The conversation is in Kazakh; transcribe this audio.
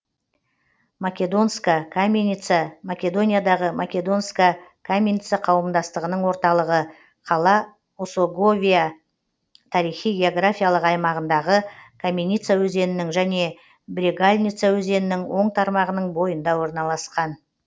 македонска каменица македониядағы македонска каменица қауымдастығының орталығы қала осоговия тарихи географиялық аймағындағы каменица өзенінің және брегалница өзенінің оң тармағының бойында орналасқан